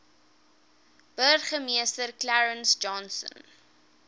burgemeester clarence johnson